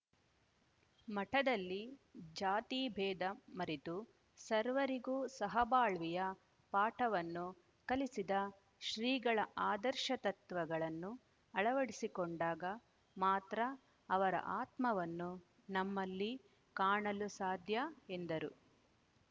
ಮಠದಲ್ಲಿ ಜಾತಿಭೇದ ಮರೆತು ಸರ್ವರಿಗೂ ಸಹಬಾಳ್ವೆಯ ಪಾಠವನ್ನು ಕಲಿಸಿದ ಶ್ರೀಗಳ ಆದರ್ಶ ತತ್ವಗಳನ್ನು ಅಳವಡಿಸಿಕೊಂಡಾಗ ಮಾತ್ರ ಅವರ ಆತ್ಮವನ್ನು ನಮ್ಮಲ್ಲಿ ಕಾಣಲು ಸಾಧ್ಯಎಂದರು